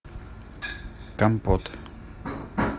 компот